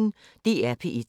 DR P1